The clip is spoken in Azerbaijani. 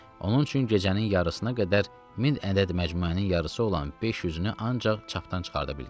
Onun üçün gecənin yarısına qədər min ədəd məcmuənin yarısı olan 500-ünü ancaq çapdan çıxarda bildik.